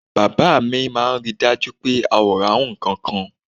Bàbá mi máa ń rí i dájú pé a ò rárùn ǹkankan